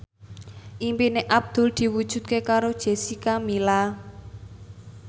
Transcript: impine Abdul diwujudke karo Jessica Milla